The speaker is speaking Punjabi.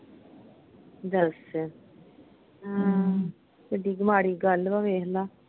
ਦੱਸ, ਆਹ ਕਿੱਡੀ ਕਿ ਮਾੜੀ ਗੱਲ ਵਾ ਵੇਖ ਲਾ।